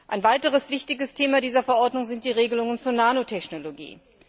Ein weiteres wichtiges Thema dieser Verordnung sind die Regelungen zur Nanotechnologie.